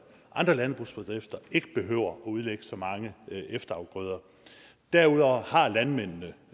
andre landbrugsbedrifter ikke behøver at udlægge så mange efterafgrøder derudover har landmændene